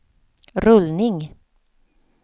rullning